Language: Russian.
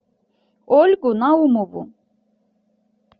ольгу наумову